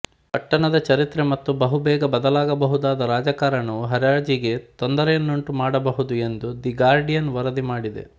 ಪಟ್ಟಣದ ಚರಿತ್ರೆ ಮತ್ತು ಬಹುಬೇಗ ಬದಲಾಗಬಹುದಾದ ರಾಜಕಾರಣವು ಹರಾಜಿಗೆ ತೊಂದರೆಯುಂಟುಮಾಡಬಹುದು ಎಂದು ದಿ ಗಾರ್ಡಿಯನ್ ವರದಿ ಮಾಡಿದೆ